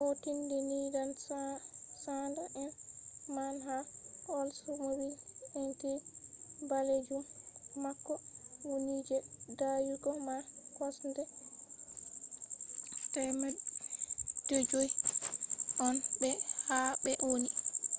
o tindini dan sanda'en man ha oldsmobile intrigue balejum mako woni je dayugo man kosɗe 500 on be ha ɓe woni